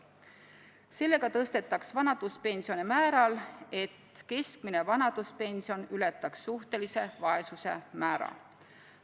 Sellega tõstetaks vanaduspensioni sel määral, et keskmine vanaduspension ületaks suhtelise vaesuse määra.